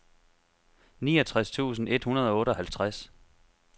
niogtres tusind et hundrede og otteoghalvtreds